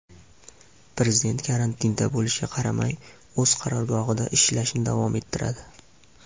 Prezident karantinda bo‘lishiga qaramay, o‘z qarorgohida ishlashni davom ettiradi.